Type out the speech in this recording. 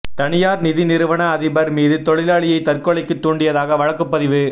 தனியாா் நிதி நிறுவன அதிபா் மீது தொழிலாளியை தற்கொலைக்கு தூண்டியதாக வழக்குப் பதிவு